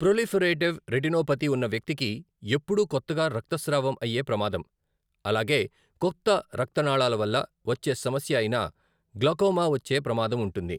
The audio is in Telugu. ప్రొలిఫెరేటివ్ రెటినోపతి ఉన్న వ్యక్తికి ఎప్పుడూ కొత్తగా రక్తస్రావం అయ్యే ప్రమాదం, అలాగే కొత్త రక్తనాళాల వల్ల వచ్చే సమస్య అయిన గ్లాకోమా వచ్చేప్రమాదం ఉంటుంది.